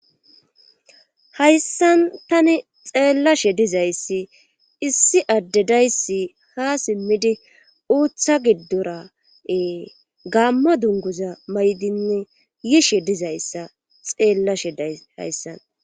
hayssan tani xeellashe dizayssi issi addedayssi ha simmidi uutha giddora7ee gaammo dunguza maydinne yishe dizayssa xeellashe day hayssan